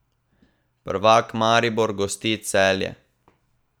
Prvak Maribor gosti Celje.